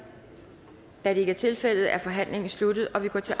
da det ikke er tilfældet er forhandlingen sluttet og vi går til